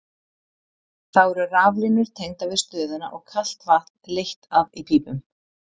Þá eru raflínur tengdar við stöðina og kalt vatn leitt að í pípum.